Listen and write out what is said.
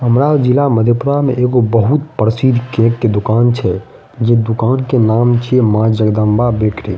हमरा जिला मधेपुरा में एगो बहुत प्रसिद्ध केक के दुकान छै जे दुकान के नाम छै माँ जगदम्बा ब्रेड केक ।